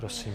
Prosím.